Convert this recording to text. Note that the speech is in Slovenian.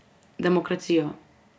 Demokracijo.